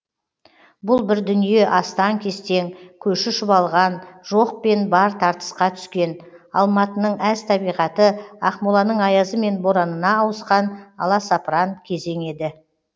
бұл бір дүние астаң кестең көші шұбалған жоқ пен бар тартысқа түскен алматының әз табиғаты ақмоланың аязы мен боранына ауысқан аласапыран кезең еді